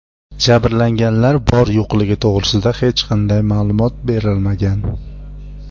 Jabrlanganlar bor-yo‘qligi to‘g‘risida hech qanday ma’lumot berilmagan.